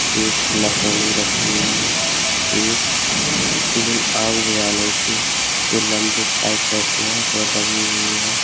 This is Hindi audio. एक नसेनी रखी हुई है एक तीन आग बुझाने के जो लंबे पाइप रहते हैं वो लगी हुई हैं।